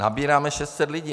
Nabíráme 600 lidí.